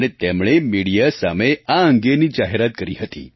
અને તેમણે મિડિયા સામે આ અંગેની જાહેરાત કરી હતી